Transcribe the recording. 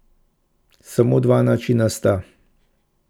Samo dva načina sta.